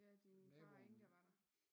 Ja din far og Inga var der